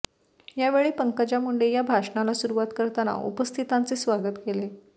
यावेळी पंकजा मुंडे या भाषणाला सुरुवात करताना उपस्थितांचे स्वागत केले